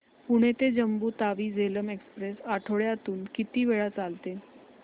पुणे ते जम्मू तावी झेलम एक्स्प्रेस आठवड्यातून किती वेळा चालते